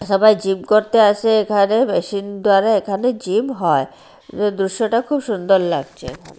সবাই জিম করতে আসে এখানে মেশিন ধারে এখানে জিম হয় দৃশ্যটা খুব সুন্দর লাগছে